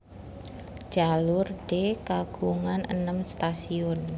Jalur D kagungan enem stasiun